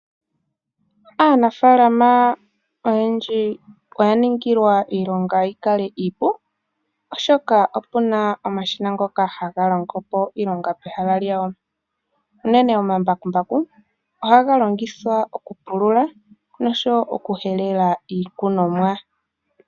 Aanafaalama oyendji oya ningilwa iilonga yikale iipu oshoka opena omashina ngoka haga longopo iilonga peha lyawo. Unene omambakumbaku ohaga longithwa oku pulula noshowo oku helela iikunomwa.